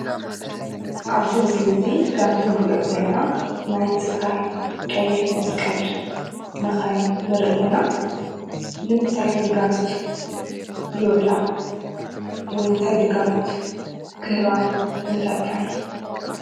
ኣብዚ ምስሊ እዚ ከምቲ ንሪኦ ዘለና ናይ ትካል ቀይሕ መስቀል መኻይን ንርኢ ኣለና፡፡ ንምንታይ ግልጋሎት ይውዕላ? ወይ እንታይ ግልጋሎት ክህባ ንፈልጠን?